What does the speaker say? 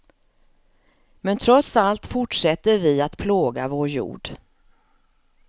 Men trots allt fortsätter vi att plåga vår jord.